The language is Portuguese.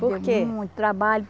Por quê? Muito trabalho